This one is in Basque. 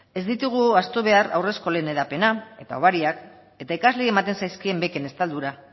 ez ditugu ahaztu behar haurreskolen hedapena eta hobariak eta ikasleei ematen zaizkien beken estaldura